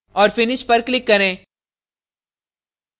और finish पर click करें